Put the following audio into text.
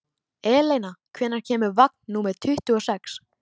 Eleina, hvenær kemur vagn númer tuttugu og sex?